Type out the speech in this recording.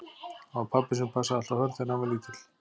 Það var pabbi sem passaði alltaf Hörð þegar hann var lítill.